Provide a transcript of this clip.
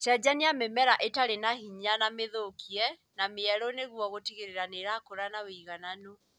Cenjania mĩmera ĩtarĩ na hinya na mĩthũkie na mĩerũ nĩguo gũtigĩrĩra nĩrakũra na ũigananu